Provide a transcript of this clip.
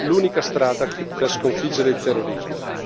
l'unica strada per sconfiggere il terrorismo.